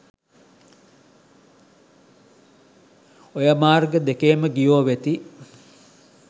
ඔය මාර්ග දෙකේම ගියෝ වෙති